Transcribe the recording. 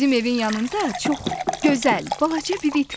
Bizim evin yanında çox gözəl balaca bir it var.